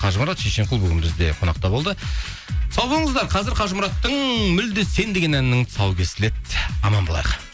қажымұрат шешенқұл бүгін бізде қонақта болды сау болыңыздар қазір қажымұраттың мүлде сен деген әнінің тұсауы кесіледі аман болайық